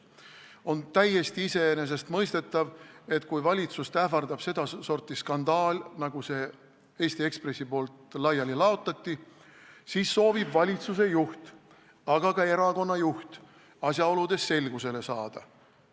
On täiesti iseenesestmõistetav, et kui valitsust ähvardab sedasorti skandaal, nagu Eesti Ekspress laiali laotas, siis soovivad valitsuse juht ja ka erakonna juht asjaoludes selgusele saada.